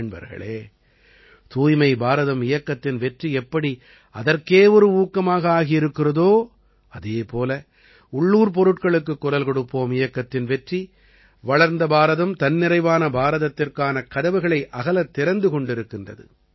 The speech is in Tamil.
நண்பர்களே தூய்மை பாரதம் இயக்கத்தின் வெற்றி எப்படி அதற்கே ஒரு ஊக்கமாக ஆகியிருக்கிறதோ அதே போல உள்ளூர் பொருட்களுக்குக் குரல் கொடுப்போம் இயக்கத்தின் வெற்றி வளர்ந்த பாரதம்தன்னிறைவான பாரதத்திற்கான கதவுகளை அகலத் திறந்து கொண்டிருக்கிறது